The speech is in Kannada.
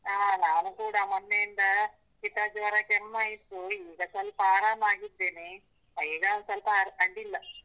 ಹಾ ನಾನು ಕೂಡ ಮೊನ್ನೆಯಿಂದ ಶಿತ, ಜ್ವರ ಕೆಮ್ಮ ಇತ್ತು ಈಗ ಸ್ವಲ್ಪ ಆರಾಮಗಿದ್ದೇನೆ, ಈಗ ಸ್ವಲ್ಪ ಅಡಿಲ್ಲ.